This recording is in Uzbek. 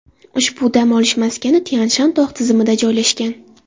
Ushbu dam olish maskani Tyan-Shan tog‘ tizimida joylashgan.